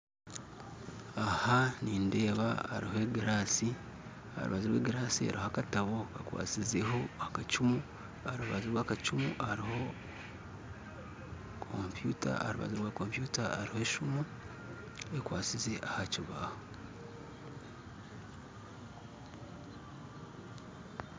Aha nindeeba hariho egiraasi aharubaju rw'egiraasi hariho akatabo kakwasizeho akacumu aharubaju rw'akacumu hariho kompyuta aha rubaju rwa kompyuta hariho esiimu ekwasize aha kibaaho